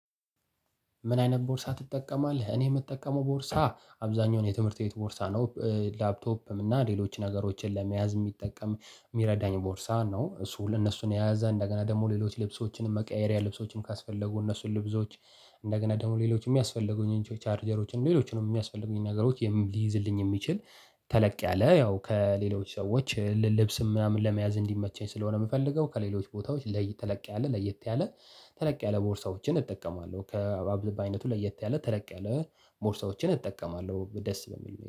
ምን አይነት ቦርሳ ትጠቀማለህ? እኔ የምጠቀመው ቦርሳ አብዛኛውን የትምህርት ቤት ቦርሳ ነው ላፕቶፕም እና ሌሎች ነገሮችን ለመያዝ የሚጠቀም የሚረዳኝ ቦርሳ ነው እሱ ለእነሱ የያዘ እንደገና ደግሞ ሌሎች ልብሶችንም መቀየሪያ ልብሶችን ካስፈለጉ እነሱን ልብሶች እንደገና ደግሞ ሌሎችም የሚያስፈልጉኝ ቻርጀሮችን ሌሎችንም የሚያስፈልጉኝን ነገሮች ሊይዝልኝ የሚችል ተለቅ ያለ ያው ከሌሎች ሰዎች ልብስም ምናምን ለመያዝ እንዲመቸኝ ስለሆነ የምፈልገው ከሌሎች ቦታዎች ተለቅ ያለ ለየት ያለ ተለቅ ያለ ቦርሳዎችን እጠቀማለሁ። ከአይነቱ ለየት ያለ ተለቅ ያለ ቦርሳዎችን እጠቀማለሁ ደስ በሚል